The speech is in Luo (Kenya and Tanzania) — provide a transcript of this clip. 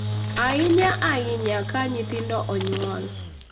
ahinya ahinya ka nyithindo onyuol.